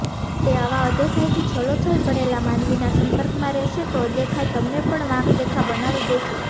તે આવા અદેખાઈથી છલોછલ ભરેલા માનવીના સંપર્કમાં રહેશે તો અદેખાઈ તમને પણ વાંકદેખા બનાવી દેશે